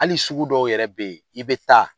Hali sugu dɔw yɛrɛ be ye, i be taa